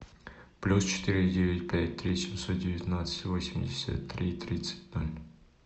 плюс четыре девять пять три семьсот девятнадцать восемьдесят три тридцать ноль